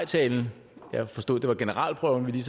til fru mette